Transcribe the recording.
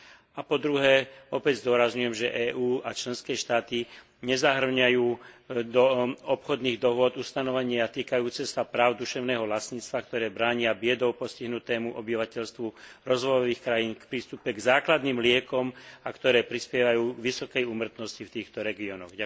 A po druhé, opäť zdôrazňujem, že EÚ a členské štáty nezahŕňajú do obchodných dohôd ustanovenia týkajúce sa práv duševného vlastníctva, ktoré bránia biedou postihnutému obyvateľstvu rozvojových krajín v prístupe k základným liekom a ktoré prispievajú k vysokej úmrtnosti v týchto regiónoch.